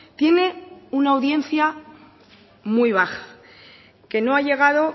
tiene una audiencia muy baja que no ha llegado